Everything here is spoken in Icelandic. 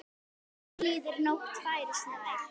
Dagur líður, nóttin færist nær.